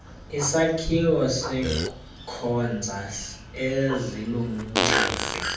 isakhiwo senkonzo eziluncedo